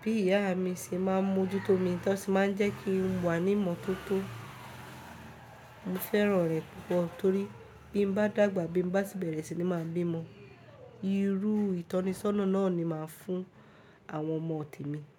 bí ìyá mi ṣe máa ń mójútó mi, tó sì máa ń jẹ́ kí n wà ní ìmọ́tótó. Mo fẹ́ràn rẹ̀ púpọ̀ torí bí mo bá dàgbà bí mo bá sì bẹ̀rẹ̀ síi máa bí ọmọ, irú ìtọ́ni sọ́nà náà ni màá fún àwọn ọmọ temi.